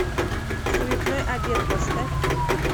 суетной обед поставь